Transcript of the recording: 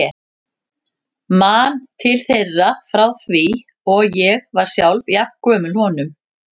Man til þeirra frá því ég var sjálf jafn gömul honum.